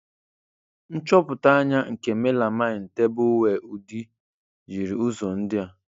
Nchọpụta anya nke melamine tableware udi, jiri ụzọ ndị a.